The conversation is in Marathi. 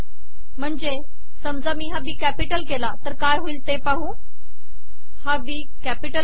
महणजे समजा मी हा बी कॅिपटल केला तर काय होईल ते पाहू